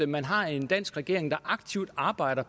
man har en dansk regering der aktivt arbejder